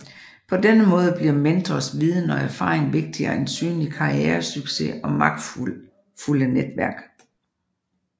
På denne måde bliver mentors viden og erfaring vigtigere end synlig karrieresucces og magtfulde netværk